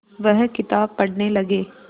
वह किताब पढ़ने लगे